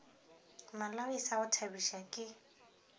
malawi sa go thabiša ke